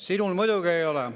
Sinul muidugi ei ole.